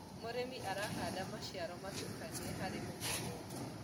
mũrĩmi arahanda maciaro mutukanĩo harĩ mũgũnda umwe